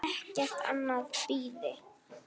Ekkert annað bíði.